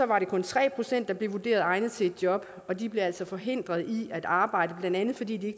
det kun tre pct der blev vurderet egnet til et job og de blev altså forhindret i at arbejde blandt andet fordi de